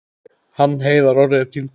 Hann Heiðar Orri er týndur.